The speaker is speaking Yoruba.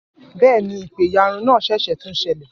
Bẹ́ẹ̀ ni, ìpẹ̀yàrun náà ṣẹ̀ṣẹ̀ tún ṣẹlẹ̀